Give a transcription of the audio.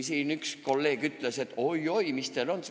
Siin üks kolleeg ütles, et oi-oi, mis teil seal oli.